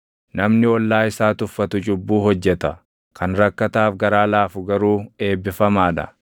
Namni ollaa isaa tuffatu cubbuu hojjeta; kan rakkataaf garaa laafu garuu eebbifamaa dha.